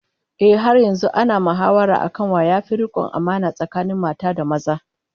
Ehh, har yanzu ana mahawara akan wa yafi rikon amana tsakanin mata da maza